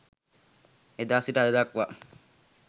ඒදා සිට අද දක්වා